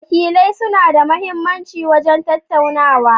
Wakilai suna da mahimmanci wajen tantancewa.